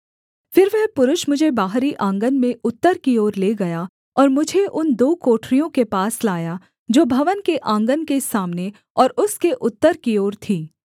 फिर वह पुरुष मुझे बाहरी आँगन में उत्तर की ओर ले गया और मुझे उन दो कोठरियों के पास लाया जो भवन के आँगन के सामने और उसके उत्तर की ओर थीं